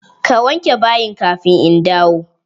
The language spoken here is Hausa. Ka wanke bayin kafin in dawo!